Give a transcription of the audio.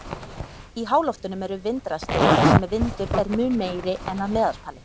Í háloftunum eru vindrastir þar sem vindur er mun meiri en að meðaltali.